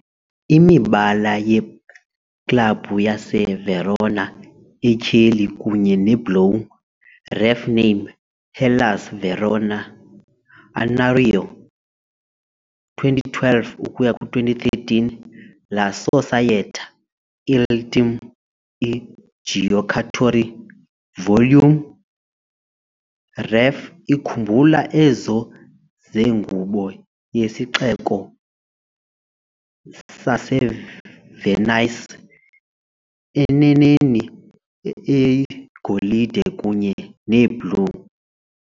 Imibala yeklabhu yaseVerona, etyheli kunye nebhlowu, ref name"Hellas Verona-annuario 2012 ukuya ku-2013- la Società, il Team, i Giocatori - Volume I" ref ikhumbula ezo zengubo yesixeko saseVenice, eneneni eyigolide kunye neblue.